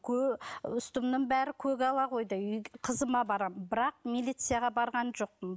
үстімнің бәрі көгала қойдай қызыма барамын бірақ милицияға барған жоқпын